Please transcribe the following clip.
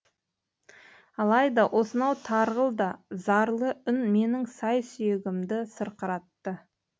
алайда осынау тарғыл да зарлы үн менің сай сүйегімді сырқыратты